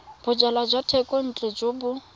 bojalwa jwa thekontle jo bo